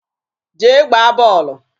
Jee gbaa bọọlụ!